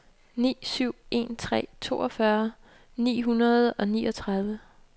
ni syv en tre toogfyrre ni hundrede og niogtredive